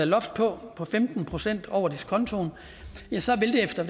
loft på femten procent over diskontoen ja så vil det efter